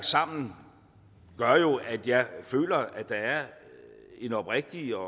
sammen at jeg føler at der er et oprigtigt og